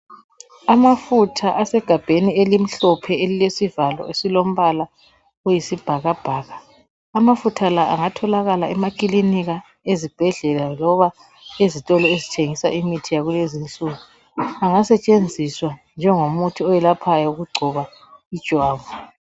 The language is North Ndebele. Amafutha asegabheni elimhlophe, elilesivalo esilo mbala oyisibhakabhaka. Amafutha la! angatholakala emaklinika, ezibhedlela loba ezitolo ezithengisa imithi yakulezinsuku. Angasetshenziswa njengomuthi oyelaphayo okugcoba ijwabu.